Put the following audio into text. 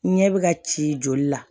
Ɲɛ bɛ ka ci joli la